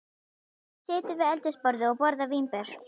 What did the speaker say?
Hún situr við eldhúsborðið og borðar vínber.